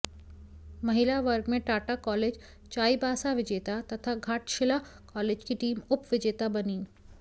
महिला वर्ग में टाटा कॉलेज चाईबासा विजेता तथा घाटशिला कॉलेज की टीम उप विजेता बनी